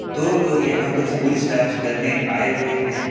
दो लोग यहां कुछ पूछताछ करने आए हुए हैं।